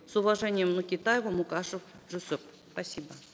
с уважением нукетаева мукашев жусуп спасибо